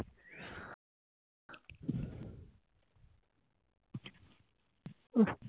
উহ